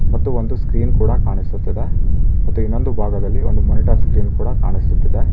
ಮತ್ತು ಒಂದು ಸ್ಕ್ರೀನ್ ಕೂಡ ಕಾಣಿಸುತ್ತಿದೆ ಮತ್ತು ಇನ್ನೊಂದು ಭಾಗದಲ್ಲಿ ಒಂದು ಮೋನಿಟರ್ ಸ್ಕ್ರೀನ್ ಕೂಡ ಕಾಣಿಸುತ್ತಿದೆ.